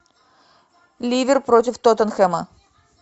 ливер против тоттенхэма